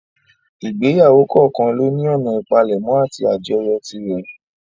Ìgbéyàwó kọ̀ọ́kan lóní ọ̀nà ìpalẹ̀mọ́ àti àjọyọ̀ tirẹ̀.